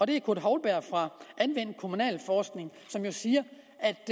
det er kurt houlberg fra anvendt kommunalforskning som jo siger